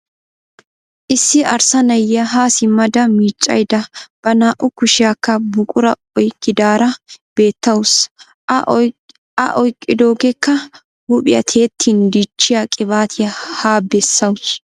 Issi arssa na"iya haa simmada miiccayidda ba naa"u kushiyankka buquraa oyikkidaara beettawusu. A oyikkidoogeekka huuphiya tiyettin dichchiya qibaatiya haa bessawusu.